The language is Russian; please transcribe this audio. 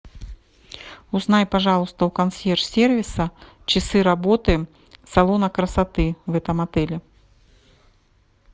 узнай пожалуйста у консьерж сервиса часы работы салона красоты в этом отеле